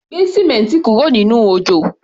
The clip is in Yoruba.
Gbé símẹ́ǹti kúrò nínú òjò!